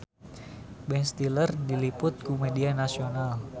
Ben Stiller diliput ku media nasional